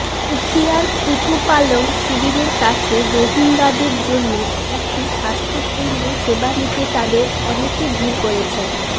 উখিয়ায় কুতুপালং শিবিরের কাছে রোহিঙ্গাদের জন্য একটি স্বাস্থ্যকেন্দ্রে সেবা নিতে তাদের অনেকে ভিড় করছেন